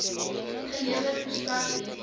gelewer verstrek netto